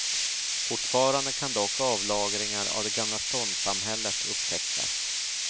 Fortfarande kan dock avlagringar av det gamla ståndssamhället upptäckas.